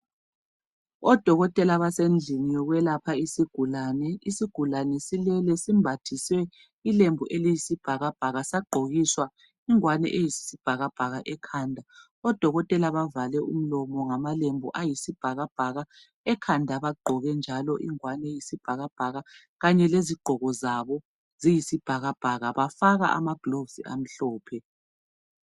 Odokotela basendlini yokwelapha isigulane. Isigulane silele. Simbathizwe ilembu, sagqokiswa ingowane ekhanda. Odokotela bavale imilomo ngamalembu. Ekhanda bagqoke ingowane, amalembu embethwe yisigulane, ingowane yesigulane, amalembu abodokotela, abavale ngawo imilomo, kanye lezigqoko zabo, konke kuyisibhakabhaka. Bafaka amagloves amhlophe.